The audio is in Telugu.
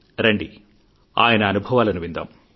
రండి ఆయన అనుభవాలను విందాం